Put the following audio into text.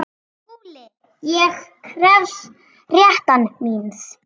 SKÚLI: Ég krefst réttar míns.